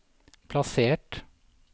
plassert